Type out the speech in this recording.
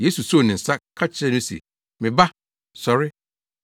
Yesu soo ne nsa ka kyerɛɛ no se, “Me ba, sɔre!”